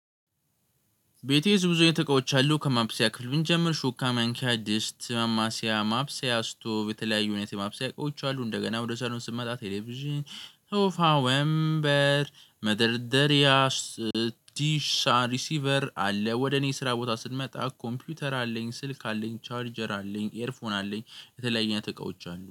ቤቴ ብዙ አይነት እቃዎች አሉ ከማብሰያ ክፍል ብንጀምር ሹካ ማንኪያ ድስት ማማስያ ማብሰያ ስቶቭ የተለያዩ እውነት የማብሰያ እቃዎች አሉ እንደገና ወደ ሳሎን ስመጣ ቴሌቪዥን ሶፋ ወንበር መደርደሪያ ሪሲቨር አለ። ወደ እኔ ስራ ቦታ ስትመጣ ኮምፒውተር አለኝ ስልክ አለኝ ቻርጀር አለኝ ኤርፎን አለኝ የተለያየ አይነት እቃዎች አለኝ